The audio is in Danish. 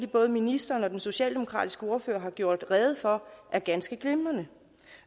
både ministeren og den socialdemokratiske ordfører har gjort rede for er ganske glimrende